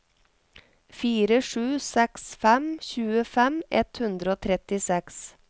fire sju seks fem tjuefem ett hundre og trettiseks